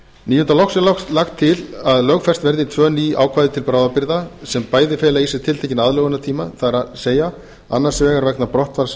mála loks er lagt til að lögfest verði tvö ný ákvæði til bráðabirgða sem bæði fela í sér tiltekinn aðlögunartíma það er annars vegar vegna brottfalls